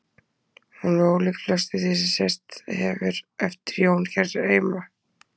Hún er ólík flestu því sem sést hefur eftir Jón hér heima.